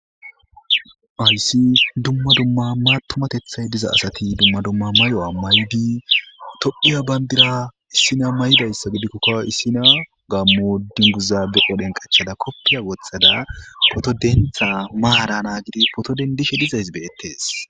aysi dumma dumma ma tumatethay diza asati dumma dumma mayo7a may7di tophiya bandira issina maydayssa gidikkokko issina gammo dinguzabe odhen qachada koppiya wothada poto dentha maara naa gidi poto dendishe dizays beyettes